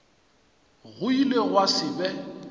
go ile gwa se be